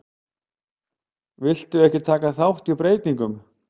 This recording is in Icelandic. Vildu ekki taka þátt í breytingum